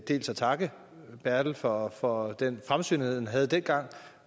dels at takke bertel for for den fremsynethed man havde dengang